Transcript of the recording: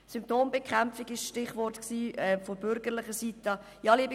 Symptombekämpfung war ein Stichwort von bürgerlicher Seite.